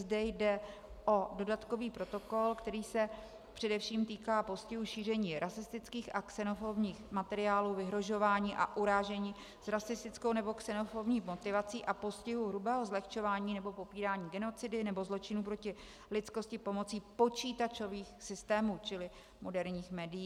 Zde jde o dodatkový protokol, který se především týká postihu šíření rasistických a xenofobních materiálů, vyhrožování a urážení s rasistickou nebo xenofobní motivací a postihu hrubého zlehčování nebo popírání genocidy nebo zločinů proti lidskosti pomocí počítačových systémů, čili moderních médií.